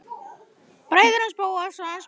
Bræðurnir og Bóas, sonur hans Smára.